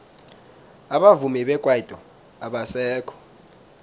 abavumi bekwaito abasekho